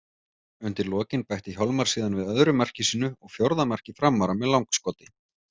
Undir lokin bætti Hjálmar síðan við öðru marki sínu og fjórða marki Framara með langskoti.